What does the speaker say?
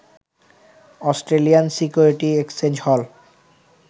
Australian security exchange হল